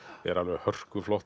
er alveg